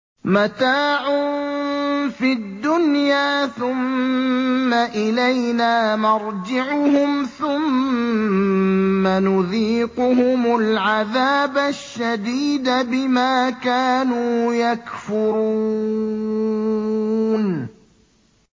مَتَاعٌ فِي الدُّنْيَا ثُمَّ إِلَيْنَا مَرْجِعُهُمْ ثُمَّ نُذِيقُهُمُ الْعَذَابَ الشَّدِيدَ بِمَا كَانُوا يَكْفُرُونَ